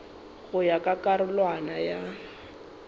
go ya ka karolwana ya